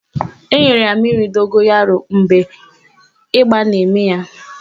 Enyere ya mmiri dogoyaro mgbe ịba na-eme ya.